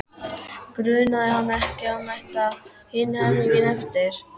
Grunaði hann ekki að hún ætti hinn helminginn eftir?